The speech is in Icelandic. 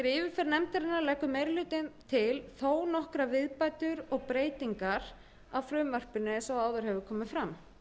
nefndarinnar leggur meiri hlutinn til þó nokkrar viðbætur og breytingar á frumvarpinu eins og áður hefur komið fram